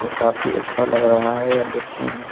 काफी अच्छा लग रहा है यह देखने में।